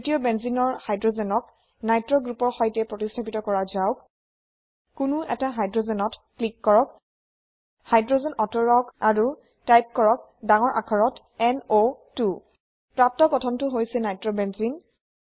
তৃতীয় বেঞ্জেনে ৰ হাইড্ৰোজেন ক নিত্ৰ গ্ৰুপৰ সৈতে প্ৰতিস্থাপিত কৰা যাওক কোনো এটা Hydrogensত ক্লিক কৰক হাইড্ৰোজেন অতৰাওক আৰু টাইপ কৰক ডাঙৰ আখৰত N O 2 প্ৰাপ্ত গঠনটো হৈছে নাইট্ৰবেনজেনে